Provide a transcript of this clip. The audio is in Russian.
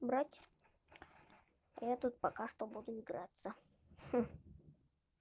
убрать я тут пока что буду играться